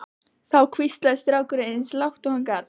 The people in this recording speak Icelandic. Þá hvíslaði strákurinn eins og lágt og hann gat